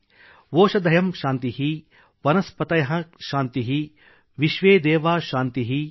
ಓಷಧಯಃ ಶಾಂತಿಃ | ವನಸ್ಪತಯಃ ಶಾಂತಿಃ | ವಿಶ್ವೇದೇವಾ ಶಾಂತಿಃ |